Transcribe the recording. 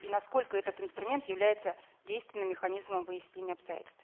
и насколько этот инструмент является действенным механизмом выяснения обстоятельств